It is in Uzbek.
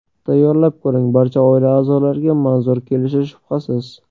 Tayyorlab ko‘ring, barcha oila a’zolariga manzur kelishi shubhasiz.